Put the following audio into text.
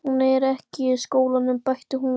Hún er ekki í skólanum, bætti hún við.